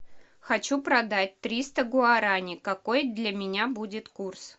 хочу продать триста гуарани какой для меня будет курс